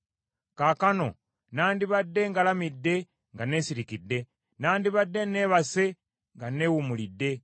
Kaakano nandibadde ngalamidde nga neesirikidde, nandibadde neebase nga neewummulidde,